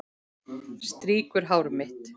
Strýkur hár mitt.